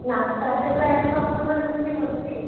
ନାସ୍ତା ରେ ପ୍ରାୟ ତ ଆମର୍ ଘରେ ରୁଟି ବନ୍ ସି।